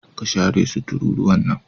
ka share su tururuwan nan.